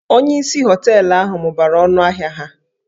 Onyeisi hóteélụ̀ ahụ mụbara ọnụ ahịa ha